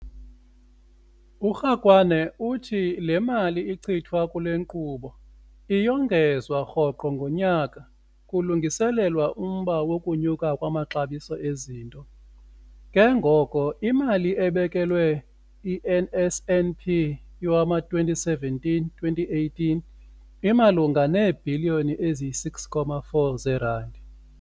URakwena uthi le mali ichithwa kule nkqubo iyongezwa rhoqo ngonyaka kulungiselelwa umba wokunyuka kwamaxabiso ezinto, ke ngoko imali ebekelwe i-NSNP yowama-2017-2018 imalunga neebhiliyoni eziyi-6.4 zeerandi.